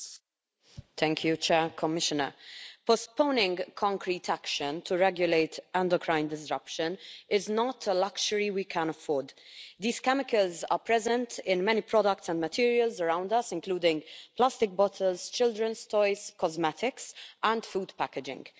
Mr President, postponing concrete action to regulate endocrine disruption is not a luxury we can afford. These chemicals are present in many products and materials around us, including plastic bottles, children's toys, cosmetics and food packaging.